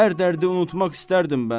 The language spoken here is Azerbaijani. Hər dərdi unutmaq istərdim mən.